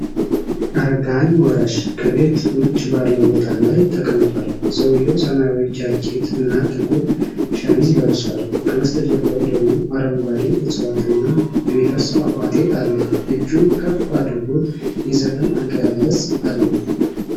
አረገሀኝ ወራሽ ከቤት ውጭ ባለው ቦታ ላይ ተቀምጧል። ሰውዬው ሰማያዊ ጃኬት እና ጥቁር ሸሚዝ ለብሷል፣ ከበስተጀርባው ደግሞ አረንጓዴ ዕፅዋት እና የሚፈስ ፏፏቴ አለ። እጁን ከፍ አድርጎ የዘፈን አገላለጽ አለው።